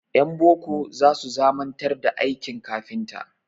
Ƴan boko za su zamanantar da aikin kafinta.